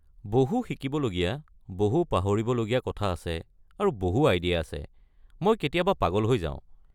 বহু শিকিবলগীয়া, বহু পাহৰিবলগীয়া কথা আছে, আৰু বহু আইডিয়া আছে, মই কেতিয়াবা পাগল হৈ যাওঁ।